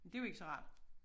Det jo ikke så rart